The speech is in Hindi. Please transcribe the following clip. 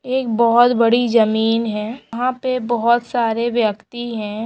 ये एक बोहत बड़ी जमीन है यंहा पे बोहत सारे व्यक्ति है ।